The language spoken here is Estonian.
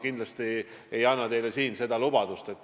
Sellist lubadust ma siin kindlasti teile ei anna.